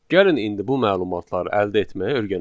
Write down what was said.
Gəlin indi bu məlumatları əldə etməyi öyrənək.